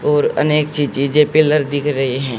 और अनेक सी चीजें पिलर दिख रही हैं।